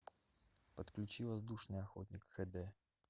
подключи воздушный охотник х д